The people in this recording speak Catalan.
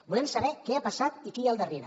volem saber què ha passat i qui hi ha al darrere